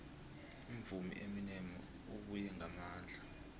umvumi ueminem ubuye ngamandla